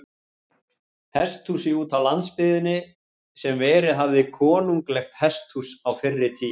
Hesthúsi útá landsbyggðinni, sem verið hafði konunglegt hesthús á fyrri tíð.